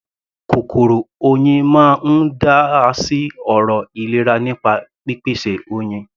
Kòkòrò Oyin máa ń dá sí ọ̀rọ̀ ìlera nípa pípèsè Oyin.